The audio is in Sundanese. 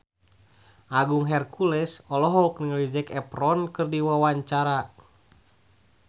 Agung Hercules olohok ningali Zac Efron keur diwawancara